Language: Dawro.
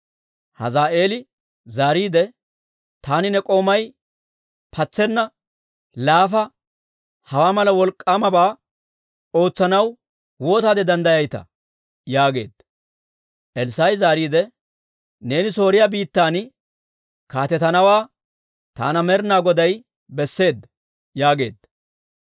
Hazaa'eeli zaariide, «Taani ne k'oomay, patsena laafa, hawaa mala wolk'k'aamabaa ootsanaw waataade danddayayitaa?» yaageedda. Elssaa'i zaariide, «Neeni Sooriyaa biittan kaatetanawaa taana Med'ina Goday besseedda» yaageedda.